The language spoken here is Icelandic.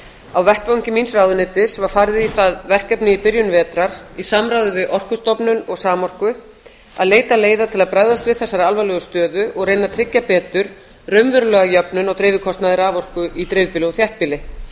á vettvangi míns ráðuneytis var farið í það verkefni í byrjun vetrar í samráði við orkustofnun og samorku að leita leiða til að bregðast við þessari alvarlegu stöðu og reyna að tryggja betur raunverulega jöfnun á dreifikostnaði raforku í dreifbýli og þéttbýli